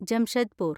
Jamshedpur